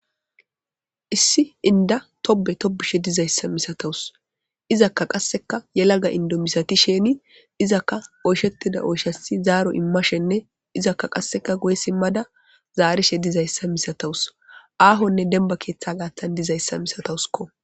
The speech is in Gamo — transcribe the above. Issi inda tobe tobishe dizaysa misatawus izaka qaseka yelaga Indo misatisheni izaka oyshetida oyshas zaro imishene izaka qase guye simada zarishe dizaysa misatawus izaka qase ahonne demiba ketha gatan dizaysa misatawus.